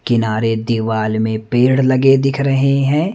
किनारे दिवाल में पेड़ लगे दिख रहें हैं।